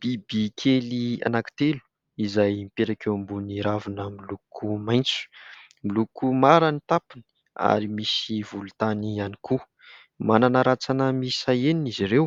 Biby kely anankitelo izay mipetraka eo ambony ravina miloko maitso. Miloko mara ny tampony ary misy volontany ihany koa. Manana rantsana miisa enina izy ireo